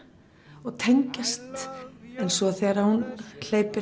og tengjast en svo þegar hún hleypir